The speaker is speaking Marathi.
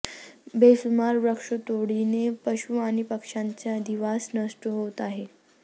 बेसुमार वृक्षतोडीने पशू आणि पक्षांचे अधिवास नष्ट होत आहेत